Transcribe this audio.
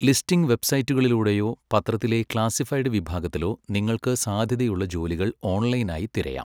Listing വെബ്സൈറ്റുകളിലൂടെയോ പത്രത്തിലെ classified വിഭാഗത്തിലോ നിങ്ങൾക്ക് സാധ്യതയുള്ള ജോലികൾ ഓൺലൈനായി തിരയാം.